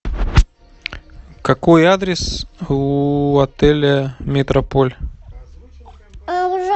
какой адрес у отеля метрополь